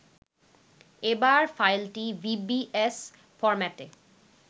এবার ফাইলটি vbs ফরম্যাটে